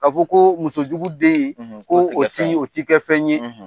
Ka fɔ ko muso jugu den; Ko o ti o ti kɛ fɛn ye;